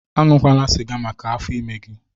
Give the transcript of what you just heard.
Aṅụkwana siga maka afọ ime gị!